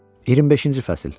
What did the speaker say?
25-ci fəsil.